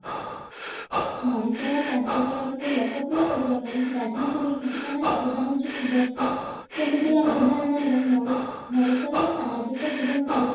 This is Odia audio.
ମଣିଷର କାର୍ଯ୍ୟକଳାପ କୁ ଲୋକପ୍ରିୟ କରିବା ପାଇଁ ରାଜନୀତି ବିଜ୍ଞାନର ଅବଦାନ ହଉଛି ଖୁବ ବେଶୀ ଯେମିତି ଆମେ ଉଦାହରଣ ନେବା ମଣି ମଣିଷ ର ସାଧାରଣ ଜୀବନ ଠାରୁ